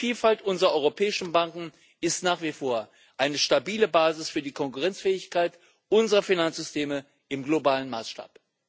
Die Vielfalt unserer europäischen Banken ist nach wie vor eine stabile Basis für die Konkurrenzfähigkeit unserer Finanzsysteme im globalen Maßstab.